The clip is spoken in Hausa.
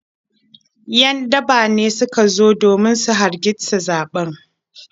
‘Yan daba ne suka zo domin su hargitsa zaɓen.